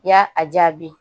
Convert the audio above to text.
I y'a a jaabi